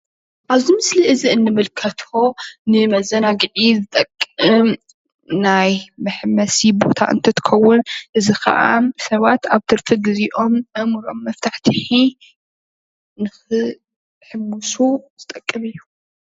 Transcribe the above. እዚ ምስሊ እዚ እንምልከቶ ንመዘናጊዒዝጠቅም ቦታ እንትትከውን እዚ ከዓ ሰባት ኣብ ትርፊ ግዚኦም ኣእምርኦም መፍታሕቲሒ ንክሕምሱ ዝጠቅም እዩ፡፡